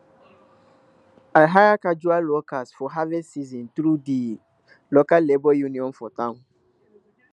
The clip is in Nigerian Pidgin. i hire casual workers for harvest season through di local labour union for town